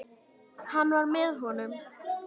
Hann var með honum!